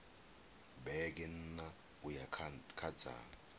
vhege nṋa uya kha dza